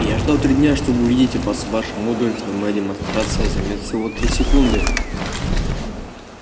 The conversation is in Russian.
я ждал три дня чтобы увидеть вас ваша мудрость но моя демонстрация займёт всего три секунды